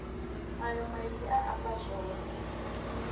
ayo maipfi a amba zwone